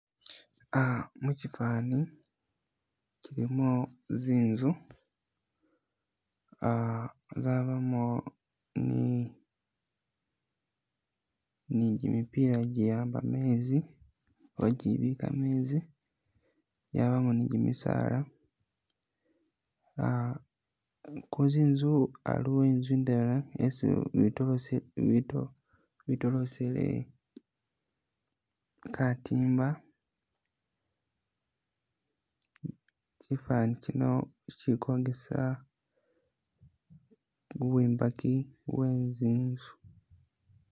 Uhh mukyifani ilimu nzinzu uhh bwabamo ni gyi'mipila gyi'amba menzi oba gyibika menzi, mwabamo nigyimisala, uhh kunzinzu aliwo inzu indwela isi betolosile katimba kyifani kyino kyikokesa iwombeki we nzinzu